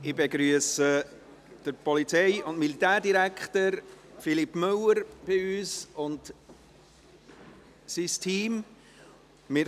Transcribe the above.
Ich begrüsse den Polizei- und Militärdirektor Philippe Müller und sein Team bei uns.